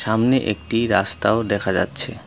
সামনে একটি রাস্তাও দেখা যাচ্ছে।